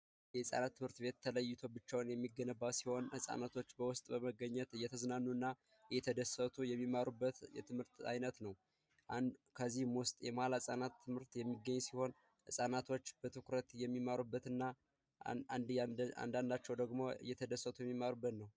የህፃናት ትምህርት ቤት ተለይቶ ጋብቻውን የሚገነባ ሲሆን ህፃናቶች በውስጥ በመገኘት እየተዝናኑ እና እየተደሰቱ የሚሠሩበት የትምህርት አይነት ነው። አንዱ ከዚህም ውስጥ የሙዋለ ህፃናት ትምህርት ቤት የሚገኝ ሲሆን ህፃናቶች በትኩረት የሚማሩበት አንዳንዳቸው ደግሞ እየተደሰቱ የሚሠሩበት ነው።